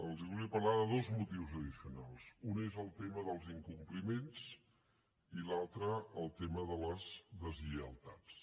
els volia parlar de dos motius addicionals un és el tema dels incompliments i l’altre el tema de les deslleialtats